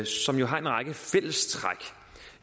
som jo har en række fællestræk